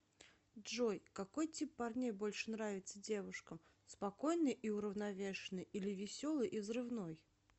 джой какой тип парней больше нравится девушкам спокойный и уравновешенный или веселый и взрывной